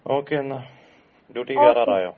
okay എന്നാ, ഡ്യൂട്ടിക്ക് കേറാ